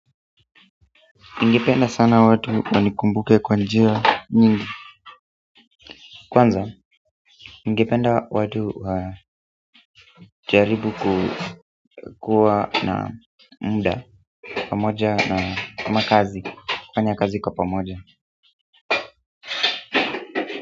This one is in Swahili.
Ningependa sana watu wanikumbuke kwa njia nyingi kwanza, ningipenda watu wajaribu kukuwa na muda pamoja na kama kazi fanya kazi kwa pamoja.